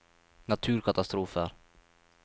naturkatastrofer